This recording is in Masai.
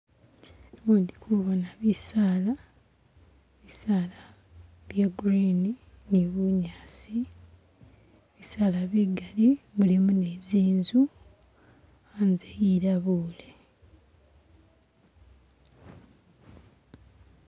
Umu ndi kubona bisaala, bisaala bya green ni bunyaasi. Bisaala bigaali mulimo ni zinzu. Anze ilabule.